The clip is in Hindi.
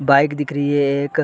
बाइक दिख रही है एक --